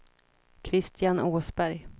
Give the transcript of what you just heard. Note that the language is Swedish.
Kristian Åsberg